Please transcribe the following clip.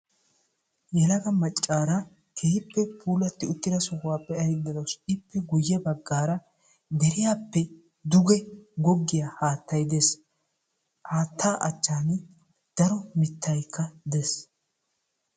Yelaga maccara keehippe puulatti uttida sohuwa be'aydda dawus ippe guyye baggaara deriyaappe duge goggiya haattay des. Haatta achchan daro mittaykka des.